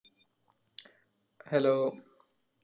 hello